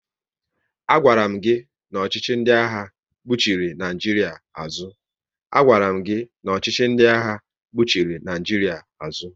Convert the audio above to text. A gwaram gị na ọchịchị ndị agha kpuchiri Naijiria azụ